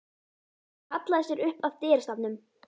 Hún hallaði sér upp að dyrastafnum.